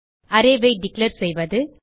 array ஐ declare செய்வது